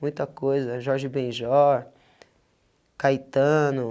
Muita coisa, Jorge Benjor, Caetano.